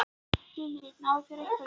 Lillý: Náðu þeir einhverjum?